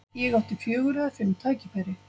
Ég átti fjögur eða fimm tækifæri.